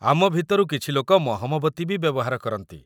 ଆମ ଭିତରୁ କିଛି ଲୋକ ମହମବତୀ ବି ବ୍ୟବହାର କରନ୍ତି ।